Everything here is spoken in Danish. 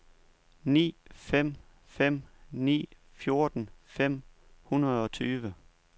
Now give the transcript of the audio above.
ni fem fem ni fjorten fem hundrede og tyve